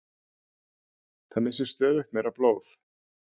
Það missir stöðugt meira blóð